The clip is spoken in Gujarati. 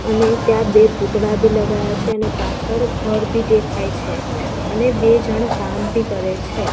અને ત્યાં બે પૂતળા બી લગાયા છે અને પાછળ ઘર બી દેખાય છે અને બે જણ કામ બી કરે છે.